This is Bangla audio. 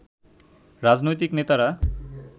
রাজনৈতিক নেতারা